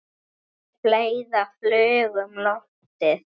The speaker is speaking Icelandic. En fleira flaug um loftið.